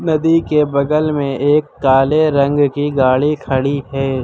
नदी के बगल में एक काले रंग की गाड़ी खड़ी है।